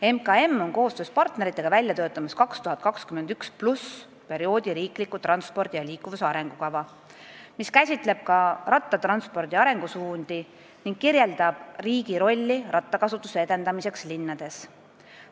" MKM töötab koostöös partneritega välja 2021+ perioodi riiklikku transpordi ja liikuvuse arengukava, mis käsitleb rattakasutuse arengusuundi ning kirjeldab riigi rolli selle edendamiseks linnades.